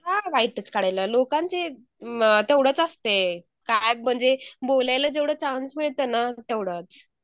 का वाईटच काढायला लोकांचे तेवढंच असते का म्हणजे बोलायला जेवढं चान्स मिळतंयना तेवढंच .